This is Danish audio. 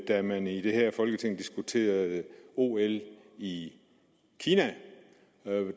da man i det her folketing diskuterede ol i kina